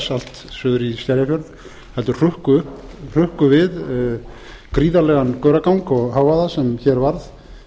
allt suður í skerjafjörð heldur hrukku við gríðarlegan gauragang og hávaða sem hér varð